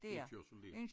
Indkørsel dér